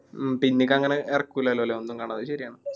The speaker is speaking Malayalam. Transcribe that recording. മ്മ് പിന്നീക്കി അങ്ങനെ ഇറക്കില്ലല്ലോ ല്ലേ ഒന്നും കാണാതെ അത് ശരിയാണ്.